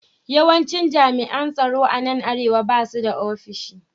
Yawancin jami’an tsaro a nan Arewa ba su da ofishi